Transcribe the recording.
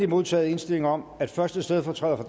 modtaget indstilling om at første stedfortræder for